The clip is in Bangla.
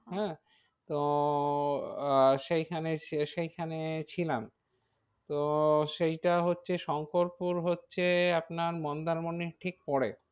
হ্যাঁ তো আহ সেইখানে সেইখানে ছিলাম। তো সেইটা হচ্ছে শঙ্করপুর হচ্ছে আপনার মন্দারমনির ঠিক পরে।